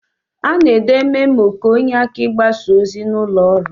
Ana ede memo ka onye aka igbasa ozi na ụlọ ọrụ.